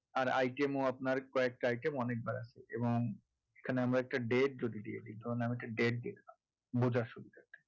আর item ও আপনার কয়েকটা item অনেকবার আছে এবং এখানে আমরা একটা date যদি দিয়ে দি কারণ একটা date দিয়ে দিলাম বোঝার সুবিধার জন্য